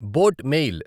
boat mail